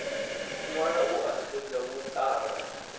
ṅwala u a xedza vhuṱala